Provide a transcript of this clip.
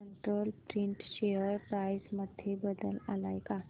control print share price मध्ये बदल आलाय का